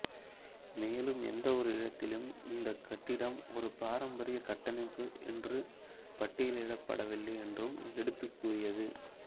மேலும் எந்த ஒரு இடத்திலும் இந்த கட்டிடம் ஒரு பாரம்பரிய கட்டமைப்பு என்று பட்டியலிடப்படவில்லை என்றும் எடுத்துக் கூறியது